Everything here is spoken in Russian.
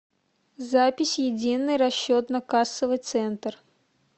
запись единый расчетно кассовый центр